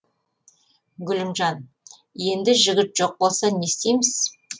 гүлімжан енді жігіт жоқ болса не істейміз